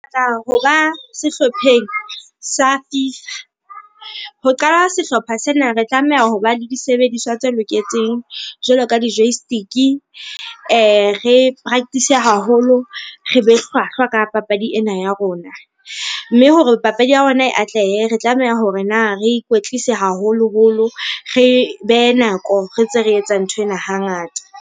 Tla hoba sehlopheng sa Fifa. Ho qala sehlopha sena, re tlameha hoba le disebediswa tse loketseng jwalo ka di-joystick-e, re practice-e, haholo, re be hlwahlwa ka papadi ena ya rona. Mme hore papadi ya ona e atlehe, re tlameha hore na re ikwetlise haholoholo, re behe nako re ntse re etsa nthwen hangata.